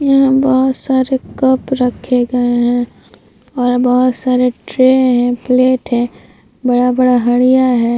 यहाँ बोहोत सारे कप रखे गए हैं और बोहोत सारे ट्रे हैं प्लेट हैं बड़ा-बड़ा हरिया है।